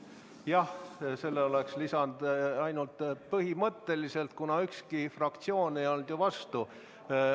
Jah, selle oleks lisanud ainult põhimõtteliselt, kuna ükski fraktsioon ei olnud ju vastu.